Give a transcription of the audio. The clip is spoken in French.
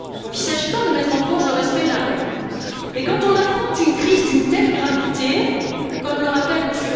Il ne s'agit pas de mettre en cause le respect de la règle, mais quand on affronte une crise d'une telle gravité, comme le rappelle M.